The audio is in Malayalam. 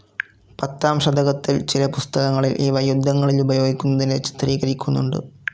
പത്താം ശതകത്തിൽ ചില പുസ്തകങ്ങളിൽ ഇവ യുദ്ധങ്ങളിലുപയോഗിക്കുന്നതിനെ ചിത്രീകരിക്കുന്നുണ്ട്.